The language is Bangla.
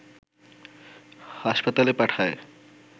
হাসপাতালে পাঠায়